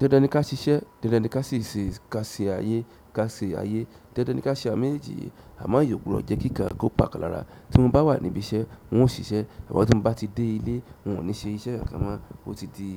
Dandan ni ká ṣiṣẹ́, dandan ni ká ṣe ayé, ká ṣe ayé, dandan ni ká ṣe àwọn méjeji yìí. Àmo eyan o gbodo jẹ́ kí nkàn kó pa kan lára. Tí mo bá wà níbí iṣẹ́ n ò síṣẹ́, ṣùgbọ́n tí mo bá ti dé ilé n ò ní ṣe iṣẹ́ kankan mọ́ ó ti di